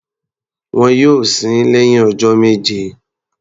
Wọn yóò sin ín lẹ́hìn ọjọ́ méje.